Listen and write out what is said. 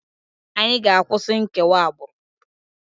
Anyị ga-akwụsị nkewa agbụrụ!